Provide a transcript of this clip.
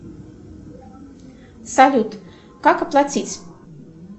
салют как оплатить